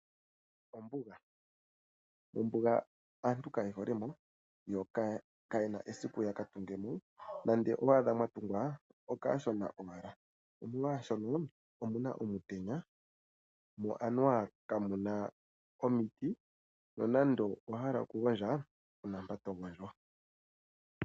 Ombuga, ombuga aantu kaye hole mo. Yo kayena esiku yaka tungemo, nande owa adha mwatugwa okashona owala nomolwashono anuwa omuna omutenya mo anuwa kamuna omiiti. Nonando owa hala oku gondja kuna mpa togondjo.